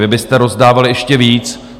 Vy byste rozdávali ještě víc.